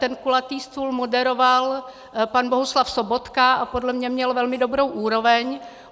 Ten kulatý stůl moderoval pan Bohuslav Sobotka a podle mě měl velmi dobrou úroveň.